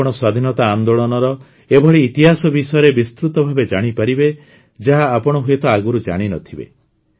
ଆପଣ ସ୍ୱାଧୀନତା ଆନ୍ଦୋଳନର ଏଭଳି ଇତିହାସ ବିଷୟରେ ବିସ୍ତୃତ ଭାବେ ଜାଣିପାରିବେ ଯାହା ଆପଣ ହୁଏତ ଆଗରୁ ଜାଣି ନ ଥିବେ